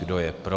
Kdo je pro?